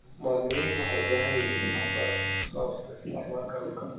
Muwaadiniintu waxay u baahan yihiin waxbarasho ku saabsan isticmaalka dhulka.